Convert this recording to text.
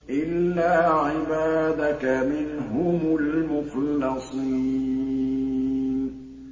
إِلَّا عِبَادَكَ مِنْهُمُ الْمُخْلَصِينَ